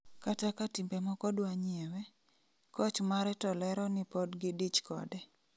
Kata ka timbe moko dwanyiewe, koch mare to lero ni pod gidich kode